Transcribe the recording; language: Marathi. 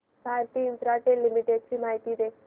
भारती इन्फ्राटेल लिमिटेड ची माहिती दे